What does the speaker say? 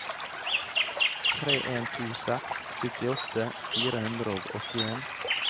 tre en to seks syttiåtte fire hundre og åttien